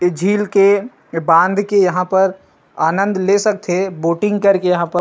झील के बांध के यहां पर आनन्द ले सकथे बोटिंग करके यहां पर--